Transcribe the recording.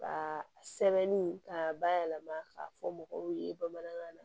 Ka sɛbɛnni k'a bayɛlɛma ka fɔ mɔgɔw ye bamanankan na